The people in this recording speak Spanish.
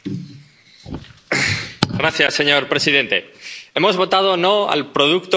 Señor presidente, hemos votado no al producto paneuropeo de pensiones individuales.